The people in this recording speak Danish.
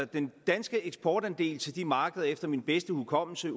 den danske eksportandel til de markeder udgør efter min bedste hukommelse